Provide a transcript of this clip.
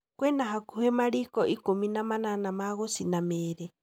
Kwĩna hakuhĩ mariko ikũmi na manana ma gũcina mĩrĩ.